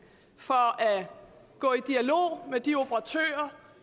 for at gå i dialog med de operatører